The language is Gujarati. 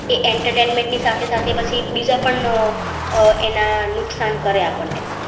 તે entertainment ની સાથે સાથે પછી બીજા પણ આહ એના નુકસાન કરેં આપણ ને.